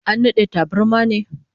An nade tabarmar ne?